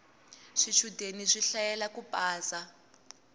swichudeni swi hlayela ku pasa